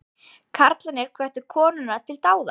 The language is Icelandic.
Karlarnir hvöttu konurnar til dáða